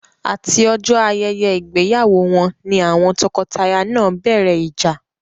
Àti ọjọ́ ayẹyẹ ìgbéyàwó wọn ni àwọn tọkọtaya náà bẹ̀rẹ̀ ìjà.